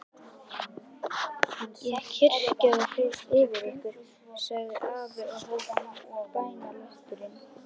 Ég kyrja þá yfir ykkur, sagði afi og hóf bænalesturinn.